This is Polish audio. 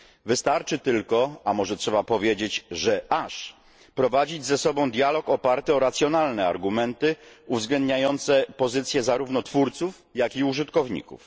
Wystarczy tylko, a może trzeba powiedzieć, że aż, prowadzić ze sobą dialog oparty o racjonalne argumenty uwzględniające pozycje zarówno twórców, jak i użytkowników.